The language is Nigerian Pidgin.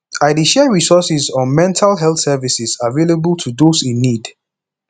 i dey share resources on mental health services available to those in need